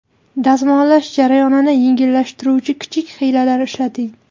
Dazmollash jarayonini yengillashtiruvchi kichik hiylalar ishlating.